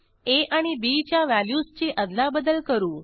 आ आणि बी च्या व्हॅल्यूजची अदलाबदल करू